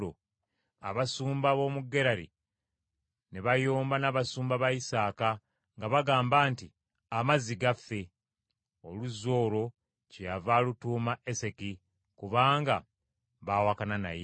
abasumba b’omu Gerali ne bayomba n’abasumba ba Isaaka nga bagamba nti, “Amazzi gaffe.” Oluzzi olwo kyeyava alutuuma Eseki , kubanga baawakana naye.